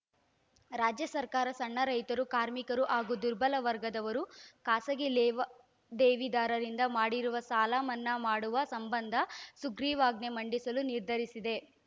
ರಾಜ್ಯ ಸರ್ಕಾರ ಸಣ್ಣ ರೈತರು ಕಾರ್ಮಿಕರು ಹಾಗೂ ದುರ್ಬಲ ವರ್ಗದವರು ಖಾಸಗಿ ಲೇವಾ ದೇವಿದಾರರಿಂದ ಮಾಡಿರುವ ಸಾಲ ಮನ್ನಾ ಮಾಡುವ ಸಂಬಂಧ ಸುಗ್ರೀವಾಜ್ಞೆ ಮಂಡಿಸಲು ನಿರ್ಧರಿಸಿದೆ